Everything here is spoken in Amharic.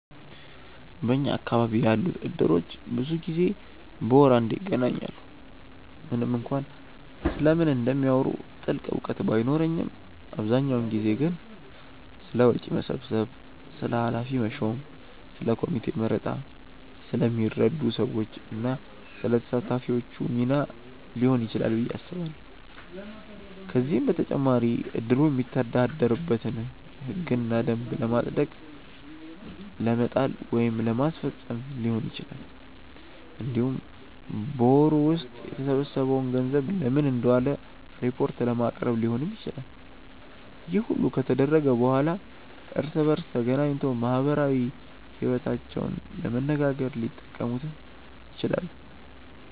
በኛ አካባቢ ያሉት እድሮች ብዙ ጊዜ በወር አንዴ ይገናኛሉ። ምንም እንኳን ስለምን እንደሚያወሩ ጥልቅ እውቀት ባይኖረኝም አብዛኛውን ጊዜ ግን ስለ ወጪ መሰብሰብ፣ ስለ ኃላፊ መሾም፣ ስለ ኮሚቴ መረጣ፣ ስለሚረዱ ሰዎች እና ስለ ተሳታፊዎቹ ሚና ሊሆን ይችላል ብዬ አስባለሁ። ከዚህም በተጨማሪ እድሩ የሚተዳደርበትን ህግና ደንብ ለማጽደቅ ለመጣል ወይም ለማስፈፀም ሊሆን ይችላል። እንዲሁም በወሩ ውስጥ የተሰበሰበው ገንዘብ ለምን እንደዋለ ሪፖርት ለማቅረብ ሊሆንም ይችላል። ይህ ሁሉ ከተደረገ በኋላ እርስ በእርስ ተገናኝቶ ማህበራዊ ይወታቸውንም ለመነጋገር ሊጠቀሙት ይችላሉ።